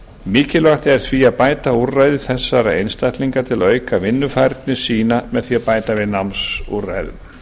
mikilvægt er því að bæta úrræði þessara einstaklinga til að auka vinnufærni sína með því að bæta við námsúrræðum